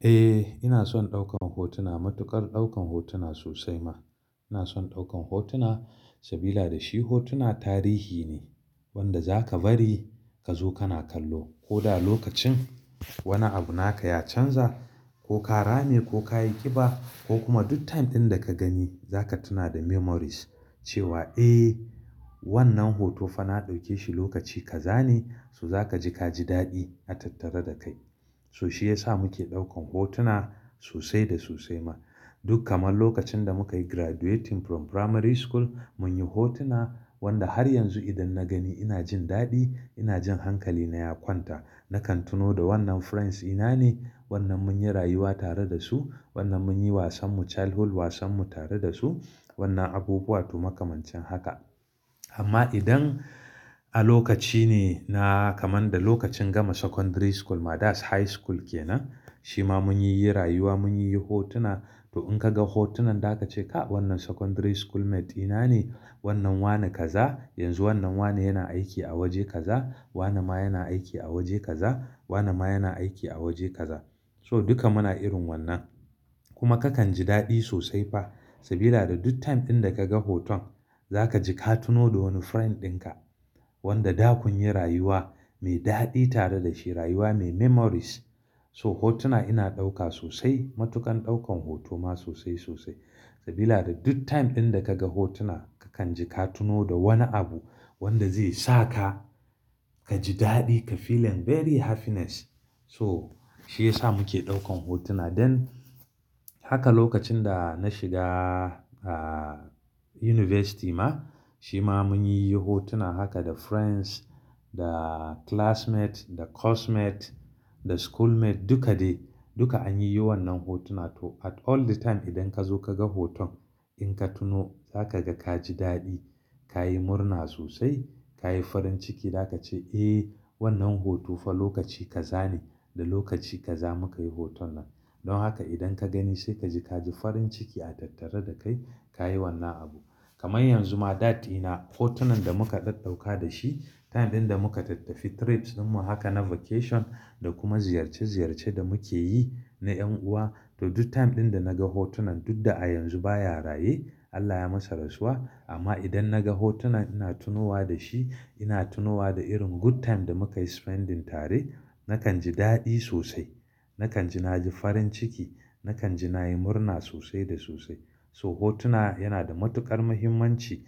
Eh, ina son ɗaukan hotuna, matuƙar ɗaukan hotuna sosai ma. Ina son ɗaukan hotuna sabila da shi hotuna tarihi ne wanda za ka bari ka zo kana kallo. Ko da lokacin wani abu naka ya canza ko ka rame ko ka yi ƙiba ko kuma duk time ɗin da ka gani za ka tuna da memories cewa eh wannan hoto fa na ɗauke shi lokaci ka zane, so za ka ji ka ji daɗi a tattare da kai. So shi ya sa muke ɗaukan hotuna sosai da sosai ma. Duk kaman lokacin da muka yi graduating from primary school mun yi hotuna wanda har yanzu idan na gani ina jin daɗi, ina jin hankali na ya kwanta. Nakan tuno da wannan friends ina ne, wannan mun yi rayuwa tare da su, wannan mun yi wasanmu, childhood wasanmu tare da su, wannan abubuwa to makamancin haka. Amma idan a lokaci ne na kaman da lokacin gama secondary school ma that's high school kenan. Shi ma mun yi rayuwa, mun yi hotuna to in ka ga hotunan da ka ce ka wannan secondary schoolmates ɗina ne. Wannan wane ka za, yanzu wannan wane yana aiki a waje ka za, wane ma yana aiki a waje ka za, wane ma yana aiki a waje ka za. So duka muna irin wannan. Kuma kakan ji daɗi sosai fa sabila da duk time ɗin da kaga hoton za ka ji ka tuno da wani friend ɗin ka wanda da kun yi rayuwa mai daɗi tare da shi rayuwa mai memories. So hotuna ina ɗauka sosai, matuƙar ɗaukan hoto ma sosai sosai sabila da duk time ɗin da kaga hotuna kakan ji ka tuno da wani abu wanda zai sa ka ka ji daɗi ka feeling very happiness. So shi ya sa muke ɗaukan hotuna. Dan haka lokacin da na shiga a university ma, shi ma mun yi hotuna haka da friends, da classmates, da course mate, da school mate duka dai. Duka an yi yi wannan hotuna to at all the time idan ka zo kaga hoton in ka tuno za ka ga ka ji daɗi, ka yi murna sosai, ka yi farin ciki da ka ce eh wannan hoto fa lokaci ka zane da lokaci ka za muka yi hoton nan. Don haka idan ka gani sai ka ji ka ji farin ciki a tattare da kai ka yi wannan abu. Kamar yanzu ma dad ina hotunan da muka ɗauka da shi time ɗin da muka tattafi trips ɗin mu haka na vacation da kuma ziyarce ziyarce da muke yi na ƴan'uwa to duk time ɗin da naga hotunan duk da a yanzu baya raye, Allah ya masa rasuwa. Amma idan naga hotunan ina tunowa da shi, ina tunowa da irin good time da muka yi spending tare. Nakan ji daɗi sosai. Nakan ji na ji farin ciki, nakan ji na yi murna sosai da sosai. So hotuna yana da matuƙar muhimmanci.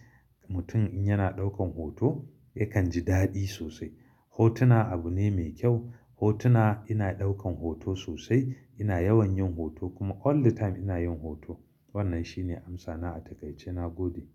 Mutum in yana ɗaukan hoto yakan ji daɗi sosai. Hotuna abu ne mai kyau. Hotuna ina ɗaukan hoto sosai. Ina yawan yin hoto kuma all the time ina yin hoto. Wannan shi ne amsana a taƙaice nagode.